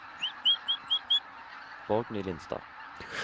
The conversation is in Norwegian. Borgny Lindstad